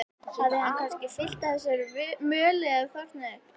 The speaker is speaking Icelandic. Hafði hann kannski fyllst af þessari möl eða þornað upp?